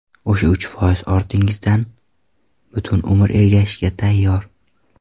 O‘sha uch foiz ortingizdan butun umr ergashishga tayyor.